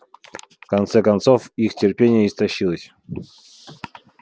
в конце концов их терпение истощилось